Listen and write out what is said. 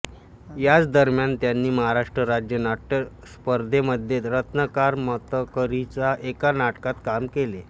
याच दरम्यान त्यांनी महाराष्ट्र राज्य नाट्यस्पर्धेमध्ये रत्नाकर मतकरींच्या एका नाटकात काम केले